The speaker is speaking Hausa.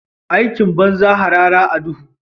Aikin banza harara a duhu?